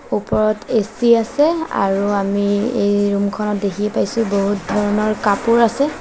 ওপৰত এ_চি আছে আৰু আমি এই ৰুম খনত দেখি পাইছোঁ বহুত ধৰণৰ কাপোৰ আছে।